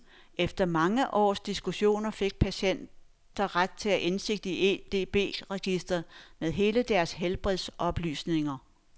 Efter mange års diskussioner fik patienter ret til indsigt i edb-registre med deres helbredsoplysninger.